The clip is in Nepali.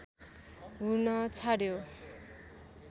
हुन छाड्यो